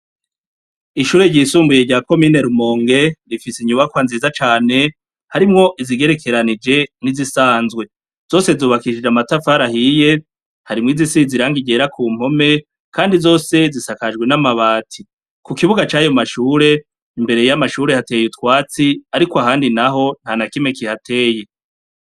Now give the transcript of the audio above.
Ishure ryisumbuye rya komine Rumonge rifise inyubakwa nziza cane, harimwo izigererekeranije n'izisanzwe. Zose zubakishije amatafari ahiye hari izisize irangi ryera ku mpome, kandi zose zisajakwe n'amabati. Ku kibuga c'ayo mashure, imbere y'amashure hateye utwatsi ariko ahandi naho nta na kimwe kihateye.